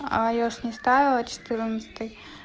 а я ж не ставила четырнадцатый